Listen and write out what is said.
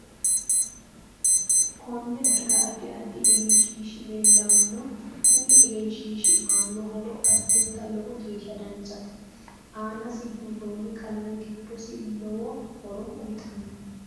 KOnne darga addi addi egenshiishi leelanno kuni egeenshiishi aano horo addinta lowo geesha danchate aanasi buurooni qalame giddose lowo horo uyiitaano